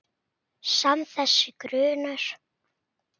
Samt- þessi grunur.